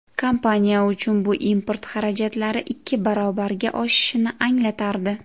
Kompaniya uchun bu import xarajatlari ikki barobarga oshishini anglatardi.